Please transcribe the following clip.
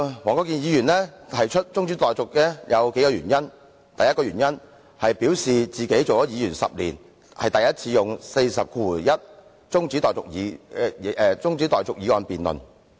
黃國健議員動議中止待續議案有數個原因，第一，他表示出任議員10年才首次引用《議事規則》第401條動議中止待續議案。